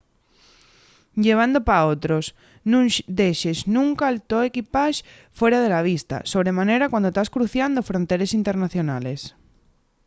llevando pa otros – nun dexes nunca’l to equipax fuera de la vista sobre manera cuando tas cruciando fronteres internacionales